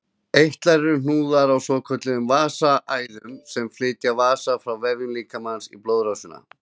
Eitlar eru hnúðar á svokölluðum vessaæðum sem flytja vessa frá vefjum líkamans í blóðrásina.